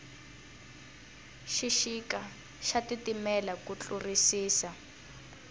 xixika xa titimela ku tlurisisa